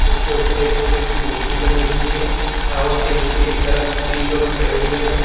उसके ऊपर एक छोटी सी मूर्ति बनी हुई है टावर के नीचे की तरफ तीन लोग खड़े हुए हैं।